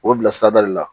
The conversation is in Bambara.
O bilasirada de la